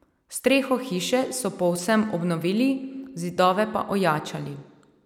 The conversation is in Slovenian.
Streho hiše so povsem obnovili, zidove pa ojačali.